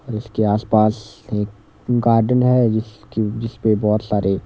इसके आसपास एक गार्डन है जिसकी जिस पे बहुत सारे।